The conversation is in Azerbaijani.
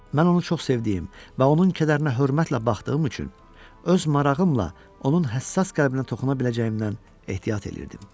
Mən onu çox sevdiyim və onun kədərinə hörmətlə baxdığım üçün öz marağımla onun həssas qəlbinə toxuna biləcəyimdən ehtiyat eləyirdim.